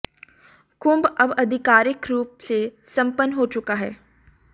कुम्भ अब आधिकारिक रूप से संपन्न हो चुका है